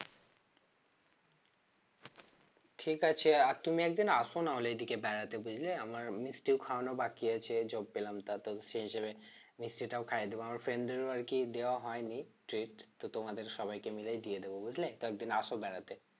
ঠিক আছে আর তুমি একদিন আসো নাহলে এদিকে বেড়াতে বুঝলে আমার মিষ্টি খাওয়ানো বাকি আছে job পেলাম তা তো সে হিসেবে মিষ্টিটাও খাইয়ে দেব আমার friend দেরও আরকি দেওয়া হয়নি treat তো তোমাদের সবাইকে মিলেই দিয়ে দেব বুঝলে তো একদিন আসো বেড়াতে